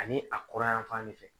Ani a kurayanfan de fɛ